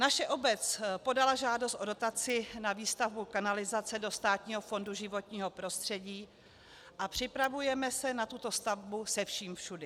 Naše obec podala žádost o dotaci na výstavbu kanalizace do Státního fondu životního prostředí a připravujeme se na tuto stavbu se vším všudy.